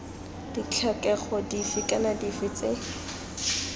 ditlhokego dife kana dife tse